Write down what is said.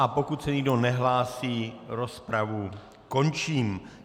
A pokud se nikdo nehlásí, rozpravu končím.